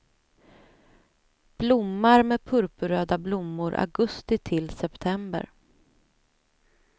Blommar med purpurröda blommor augusti till september.